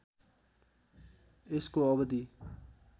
यसको अवधि